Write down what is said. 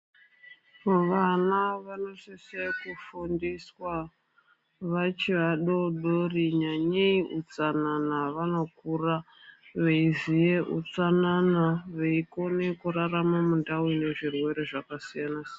Vana vanosise kufundiswa vachi vadodori nyanyei utsanana. Vanokura veiziye utsanana, veikona kurarama mundau ine zvirwere zvakasiyana-siyana.